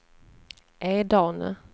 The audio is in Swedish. Edane